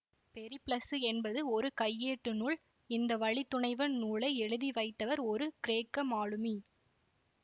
பெரிப்ளசு என்பது ஒரு கையேட்டு நூல் இந்த வழித்துணைவன் நூலை எழுதிவைத்தவர் ஒரு கிரேக்க மாலுமி